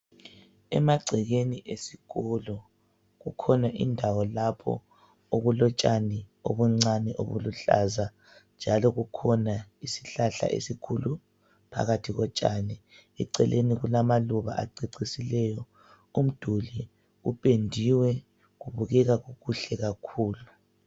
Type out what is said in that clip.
Emagcekeni esikolo kukhona indawo lapho okulotshani obuncani obuluhlaza njalo kukhona isihlahla esikhulu phakathi kotshani. Eceleni kulamaluba acecisileyo umduli upendiwe kubukeka kukuhle kakhulu.